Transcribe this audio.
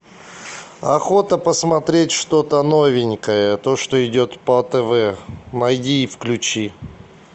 охота посмотреть что то новенькое то что идет по тв найди и включи